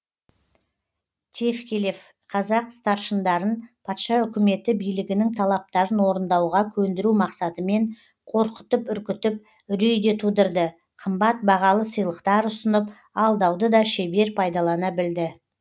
тевкелев қазақ старшындарын патша өкіметі билігінің талаптарын орындауға көндіру мақсатымен қорқытып үркітіп үрей де тудырды қымбат бағалы сыйлықтар ұсынып алдауды да шебер пайдалана білді